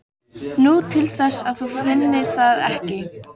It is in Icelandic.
Nú, til þess að þú finnir það ekki.